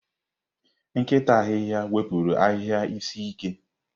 Nkịta ahihia wepụrụ ahịhịa isi ike.